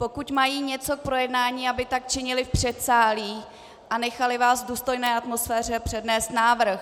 Pokud mají něco k projednání, aby tak činili v předsálí, a nechali vás v důstojné atmosféře přednést návrh.